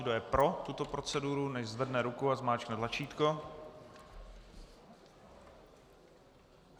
Kdo je pro tuto proceduru, nechť zvedne ruku a zmáčkne tlačítko.